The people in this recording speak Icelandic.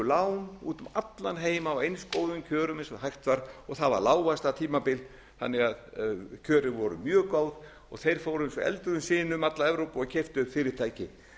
lán út um allan heim á eins góðum kjörum eins og hægt var það var lágvaxtatímabil þannig að kjörin voru mjög góð og þeir fóru eins og eldur í sinu um alla evrópu og keyptu upp fyrirtæki